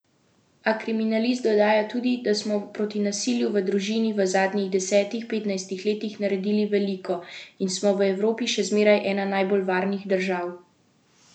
A kriminalist dodaja tudi, da smo proti nasilju v družini v zadnjih desetih, petnajstih letih naredili veliko in smo v Evropi še zmeraj ena najbolj varnih držav.